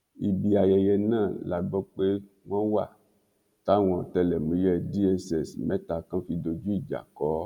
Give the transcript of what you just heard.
ibi ayẹyẹ náà la gbọ́ pé wọ́n wà táwọn ọ̀tẹlẹ̀múyẹ́ dss mẹ́ta kan fi dojú ìjà kọ́ ọ